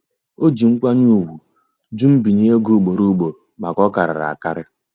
O ji nkwanye ùgwù jụ nbinye ego ugboro ugboro maka ọkarịrị akarị.